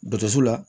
Dɔsu la